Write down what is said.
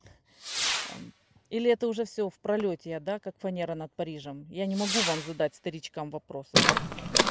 а или это уже всё в пролёте я да как фанера над парижем я не могу вам задать старичкам вопросы да